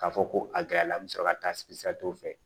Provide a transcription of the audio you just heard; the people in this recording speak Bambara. K'a fɔ ko a gɛrɛ la me sɔrɔ ka taa fɛ